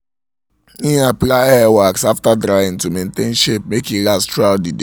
im apply hair wax after drying to maintain um shape make e last through out the um day